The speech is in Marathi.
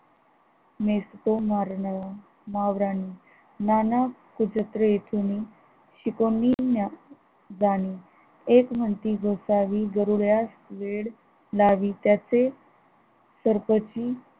मेसको मौर्यानही मानव कुजत्र येथोनी शिकुनी ज्ञान एक म्हणती गोसावी गरुड्यास वेड लावी त्याचे सर्वची